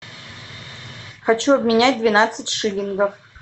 хочу обменять двенадцать шиллингов